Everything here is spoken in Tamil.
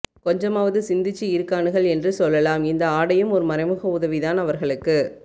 கொஞ்சமாவது சிந்திச்சு இருக்கானுகள் என்று சொல்லலாம் இந்த ஆடையும் ஓர் மறைமுக உதவிதான் அவர்களுக்கு